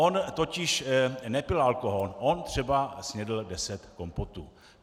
On totiž nepil alkohol, on třeba snědl deset kompotů.